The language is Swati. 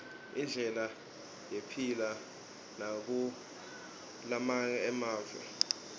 indlela yephila nabakulamange emave